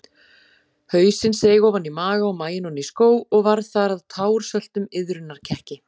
Hausinn seig ofan í maga og maginn oní skó og varð þar að társöltum iðrunarkekki.